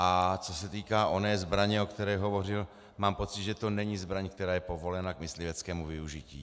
A co se týká oné zbraně, o které hovořil, mám pocit, že to není zbraň, která je povolena k mysliveckému využití.